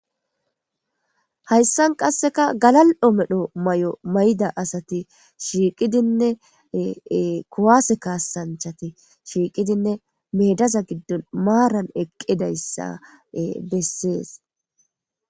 hayssan qasseka galal7o medho may7omay7da asati shiiqidinne kowaase kaasanchati shiiqidinne meedaza giddon maaran eqqidayssa bessees